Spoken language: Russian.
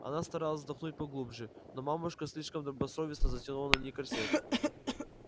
она старалась вздохнуть поглубже но мамушка слишком добросовестно затянула на ней корсет